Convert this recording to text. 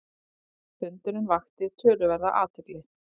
Fundurinn vakti töluverða athygli.